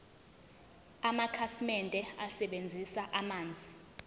amakhasimende asebenzisa amanzi